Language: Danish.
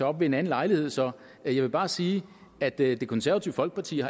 op ved en anden lejlighed så jeg vil bare sige at det konservative folkeparti